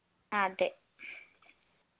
അതെ